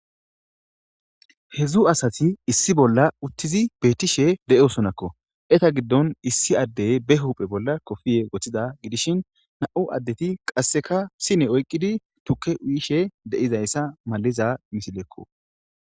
Hezu asati issi bolla utizi dishe betosonako eta gidon issi adey ba huphe bolla kopiye wothida gidishin na'mu adeti sine oyikidi tuke uyishe de'izayisa besesko